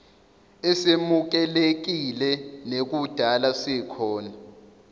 esemukelekile nekudala sikhona